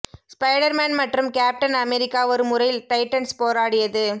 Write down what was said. spider Man மற்றும் Captain America ஒரு முறை டைட்டன்ஸ் போராடியது